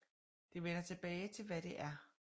Det vender tilbage til hvad det er